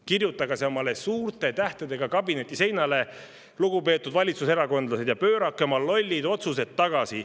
Kirjutage see omale suurte tähtedega kabineti seinale, lugupeetud valitsuserakondlased, ja pöörake oma lollid otsused tagasi.